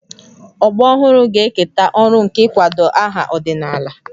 Ọgbọ ọhụrụ ga-eketa ọrụ nke ịkwado aha ọdịnala